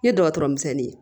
N ye dɔgɔtɔrɔ misɛnnin ye